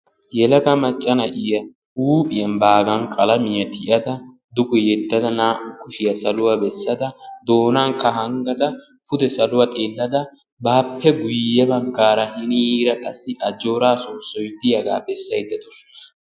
Yelaga macca na'iya huuphiyaan baagan qalamiyaa tiyada duge yeddada naa"u kushiya saluwaa bessada doonaakka hanggada pude saluwa xeellada bape guyye baggaara hiniira qassi ajjooraa soossoy diyaaga bessayda de'aawus.